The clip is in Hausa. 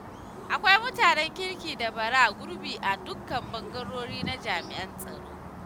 Akwai mutanen kirki da bara gurbi a dukkan ɓangarori na jami'an tsaro.